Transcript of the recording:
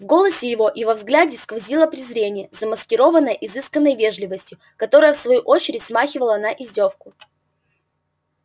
в голосе его и во взгляде сквозило презрение замаскированное изысканной вежливостью которая в свою очередь смахивала на издёвку